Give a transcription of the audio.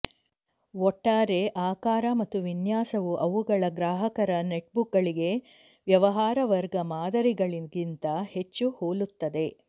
ಒಟ್ಟಾರೆ ಆಕಾರ ಮತ್ತು ವಿನ್ಯಾಸವು ಅವುಗಳ ಗ್ರಾಹಕರ ನೆಟ್ಬುಕ್ಗಳಿಗೆ ವ್ಯವಹಾರ ವರ್ಗ ಮಾದರಿಗಳಿಗಿಂತ ಹೆಚ್ಚು ಹೋಲುತ್ತದೆ